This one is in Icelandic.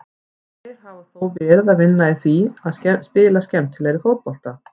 Þeir hafa þó verið að vinna í því að spila skemmtilegri fótbolta.